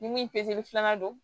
Ni min peresela don